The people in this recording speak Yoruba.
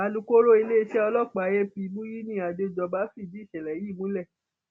alūkkóró iléeṣẹ ọlọpàá ap muyini adéjọba fìdí ìṣẹlẹ yìí múlẹ